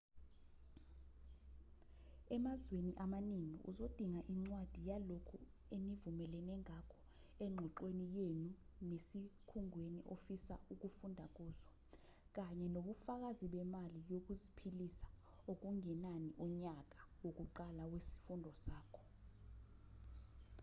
emazweni amaningi uzodinga incwadi yalokho enivumelene ngakho engxoxweni yenu nesikhungweni ofisa ukufunda kuso kanye nobufakazi bemali yokuziphilisa okungenani unyaka wokuqala wesifundo sakho